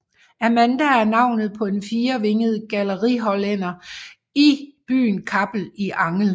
Amanda er navnet på en en firevinget gallerihollænder i byen Kappel i Angel